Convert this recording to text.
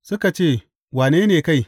Suka ce, Wane ne kai?